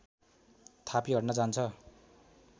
थापी हट्न जान्छ